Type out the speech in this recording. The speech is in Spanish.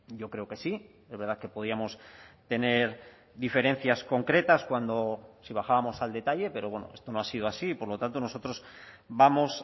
yo creo que sí es verdad que podíamos tener diferencias concretas cuando si bajábamos al detalle pero bueno esto no ha sido así y por lo tanto nosotros vamos